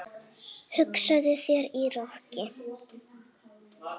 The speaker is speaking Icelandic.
Hugsaðu þér- í roki!